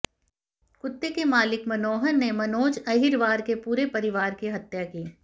कुत्ते के मालिक मनोहर ने मनोज अहिरवार के पूरे परिवार की हत्या की